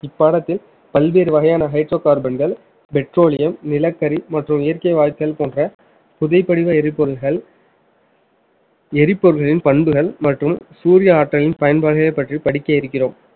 இப்பாடத்தில் பல்வேறு வகையான hydrocarbon கள் petroleum நிலக்கரி மற்றும் இயற்கை வாயுக்கள் போன்ற புதிய படிவ எரிபொருள்கள் எரிபொருள்களின் பண்புகள் மற்றும் சூரிய ஆற்றலின் பயன்பாட்டை பற்றி படிக்க இருக்கிறோம்